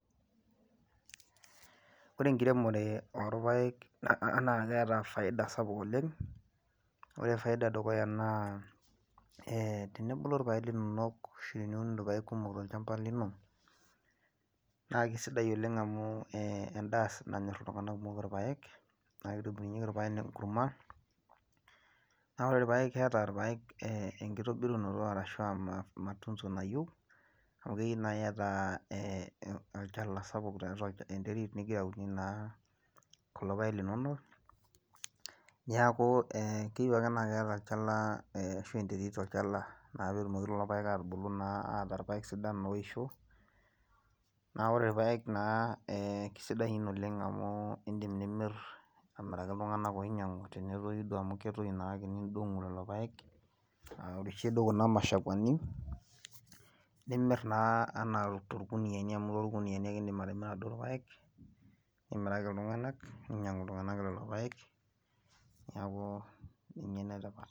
Ore enkiremore orpaek naa keeta faida sapuk oleng' ore faida edukuya naa tenebulu ashu teniun irpaek kumok tolchamba lino naa kesidai oleng' amu ee endaa nanyorr iltung'anak kumok irpaek naa kitobirubyieki irpaek enkurma ore irpaek keeta irpaek enkitobirunoto arashu aa matunzo nayieu amu keyieu naa iata olchala sapuk ashu enterit nigira aunie naa kulo paek linonok neeku keyieu ake naa iata olachala, enterit tolchala naa pee etumoki lelo paek aatubulu naa ataa irpaek sidan oisho naa ore irpaek naa kesidan naa amu iindim nimirr amiraki iltung'anak oinyiang'u tenetoyu oidong' amu ketoyu naake nindong'u lelo paek aoshu duo kuna mashakuani nimirr naa torkuniyiani amu torkuniyiani indim atimira duo irpaek, nimiraki iltung'anak ninyiang'u iltung'anak lelo paek neeku ninye enetipat.